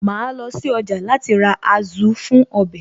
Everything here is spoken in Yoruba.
Màá lọ sí ọjà láti ra Azu fún ọbẹ̀